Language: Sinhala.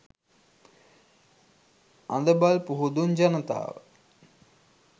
අඳබල් පුහුදුන් ජනතාව